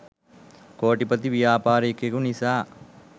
කෝටිපති ව්‍යාපාරිකයකු නිසා